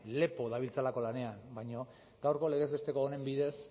lepo dabiltzalako lanean baina gaurko legez besteko honen bidez